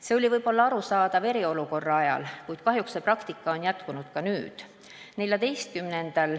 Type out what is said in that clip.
See oli võib-olla arusaadav eriolukorra ajal, kuid kahjuks on see praktika jätkunud ka nüüd.